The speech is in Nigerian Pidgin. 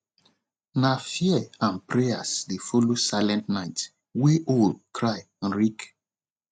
nah fear and prayers dey follow silent night wey owl cry reak